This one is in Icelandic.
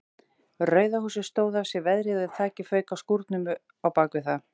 Rauða húsið stóð af sér veðrið en þakið fauk af skúrnum á bakvið það.